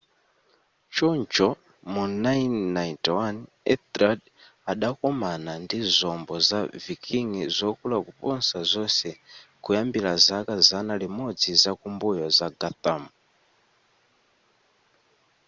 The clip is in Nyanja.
choncho mu 991 ethelred adakomana ndi zombo za viking zokula kuposa zonse kuyambira zaka zana limodzi zakumbuyo za guthrum